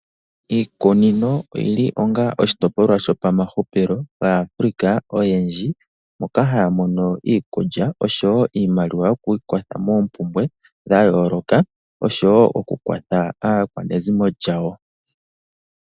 Iikunino oyi li onga oshitopolwa shopamahupilo gaAfrika oyendji moka haya mono iikulya osho wo iimaliwa yokwiikwatha moompumbwe dha yooloka nosho wo okukwatha aakwanezimo lyawo.